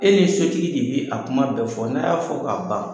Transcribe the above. E ni sotigi de bɛ k'a kuma bɛ fɔ k'a ban.